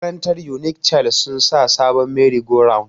Makarantar unik child sun sa sabon meri go round